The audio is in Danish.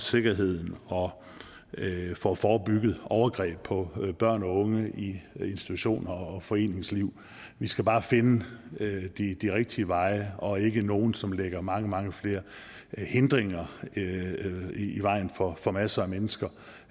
sikkerheden og får forebygget overgreb på børn og unge i institutioner og foreningsliv vi skal bare finde de rigtige de rigtige veje og ikke nogen som lægger mange mange flere hindringer i vejen for for masser af mennesker